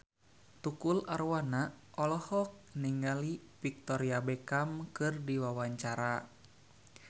Tukul Arwana olohok ningali Victoria Beckham keur diwawancara